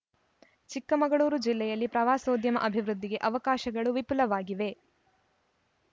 ಚಿಕ್ಕಮಗಳೂರು ಜಿಲ್ಲೆಯಲ್ಲಿ ಪ್ರವಾಸೋದ್ಯಮ ಅಭಿವೃದ್ಧಿಗೆ ಅವಕಾಶಗಳು ವಿಪುಲವಾಗಿವೆ